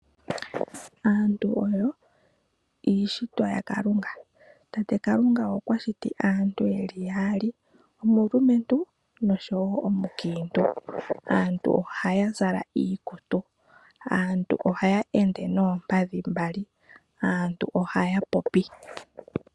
Aantu oyo iishitwa yakalunga. Tate Kalunga okwati shiti aantu yeli yaali, omulumentu, noshowo omukiintu. Aantu ohaya zala iikutu, ohaya ende noompadhi mbali, yo ohaya popi.